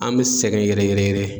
An me sɛgɛn yɛrɛ yɛrɛ yɛrɛ